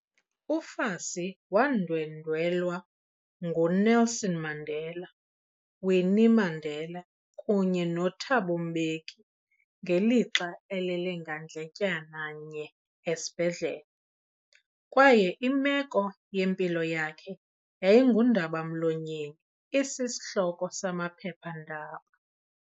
UFassie wandwendwelwa nguNelson Mandela, Winnie Mandela, kunye noThabo Mbeki ngelixa elele ngandletyana nye esibhedlele, kwaye imeko yempilo yakhe yayingundaba-mlonyeni isishloko samaphepha-ndaba.